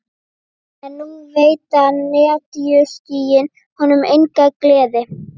En nú veita netjuskýin honum enga gleði.